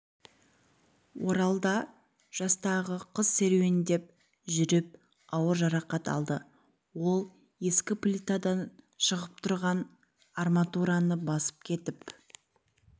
оралда жастағы қыз серуендеп жүріп ауыр жарақат алды ол ескі плитадан шығып тұрған арматураны басып кетіп